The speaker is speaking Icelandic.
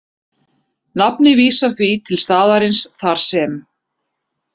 Nafnið vísar því til staðarins þar sem